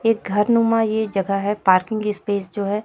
एक घर नुमा ये जगह है पार्किंग स्पेस जो है--